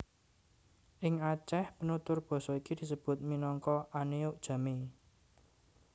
Ing Aceh penutur basa iki disebut minangka Aneuk Jamee